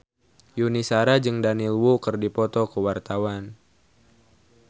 Yuni Shara jeung Daniel Wu keur dipoto ku wartawan